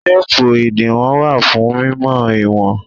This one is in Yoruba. Téépù ìdiwọn wà fún mímọ ìwọ̀n.